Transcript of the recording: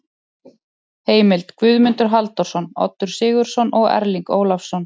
Heimild: Guðmundur Halldórsson, Oddur Sigurðsson og Erling Ólafsson.